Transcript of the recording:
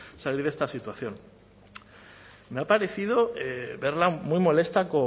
salir de esta situación me ha parecido verla muy molesta